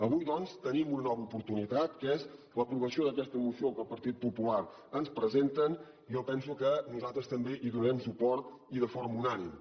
avui doncs tenim una nova oportunitat que és l’aprovació d’aquesta moció que el partit popular ens presenta a la qual jo penso que nosaltres també hi donarem suport i de forma unànime